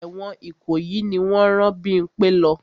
Ẹ̀wọ̀n Ìkòyí ni wọ́n rán Bímpẹ́ lọ.